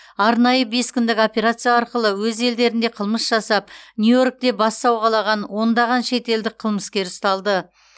арнайы бес күндік операция арқылы өз елдерінде қылмыс жасап нью йоркте бас сауғалаған ондаған шетелдік қылмыскер ұсталды